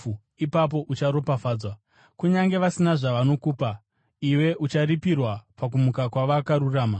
ipapo ucharopafadzwa. Kunyange vasina zvavanokupa, iwe ucharipirwa pakumuka kwavakarurama.”